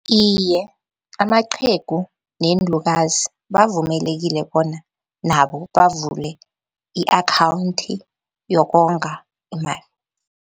Iye, amaqhegu neenlukazi bavumelekile bona nabo bavule i-akhawunthi yokonga imali.